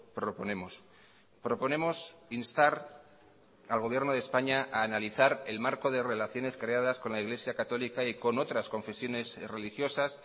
proponemos proponemos instar al gobierno de españa a analizar el marco de relaciones creadas con la iglesia católica y con otras confesiones religiosas